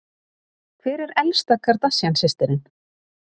Hver er elsta Kardashian systirin?